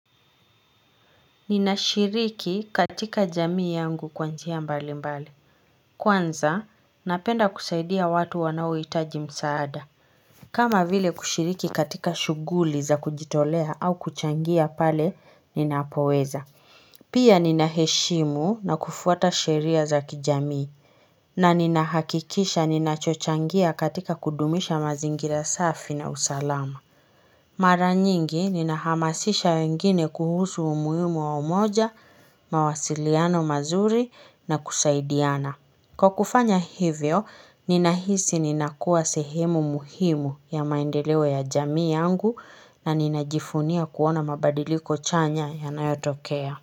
Ninashiriki katika jamii yangu kwanjia mbali mbali Kwanza napenda kusaidia watu wanaohitaji msaada kama vile kushiriki katika shughuli za kujitolea au kuchangia pale ninapoweza Pia ninaheshimu na kufuata sheria za kijamii na ninahakikisha ninachochangia katika kudumisha mazingira safi na usalama Mara nyingi ninahamasisha wengine kuhusu umuhimu wa umoja, mawasiliano mazuri na kusaidiana. Kwa kufanya hivyo, ninahisi ninakua sehemu muhimu ya maendeleo ya jamii yangu na ninajivunia kuona mabadiliko chanya ya nayotokea.